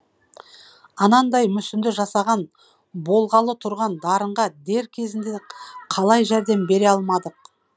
анандай мүсінді жасаған болғалы тұрған дарынға дер кезінде қалай жәрдем бере алмадық